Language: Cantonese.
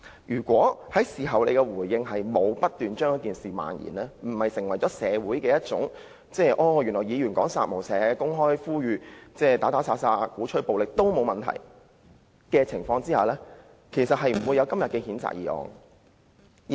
如果他透過事後的回應成功阻止事件漫延，以致社會不會覺得議員說"殺無赦"、公開鼓吹殺戮及暴力也沒有問題，毛議員今天便不會提出譴責議案。